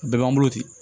A bɛɛ b'an bolo ten